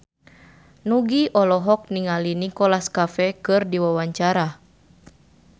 Nugie olohok ningali Nicholas Cafe keur diwawancara